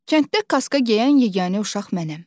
Kənddə kaska geyən yeganə uşaq mənəm.